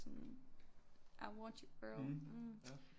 Sådan I want you girl